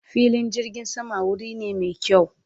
fillin jirgin sama wuri ne me kyawu